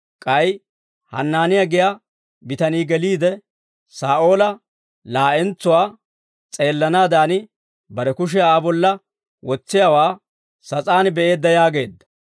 K'ay Hanaaniyaa giyaa bitanii geliide, Saa'ooli laa'entsuwaa s'eelanaadan, bare kushiyaa Aa bolla wotsiyaawaa sas'aan be'eedda» yaageedda.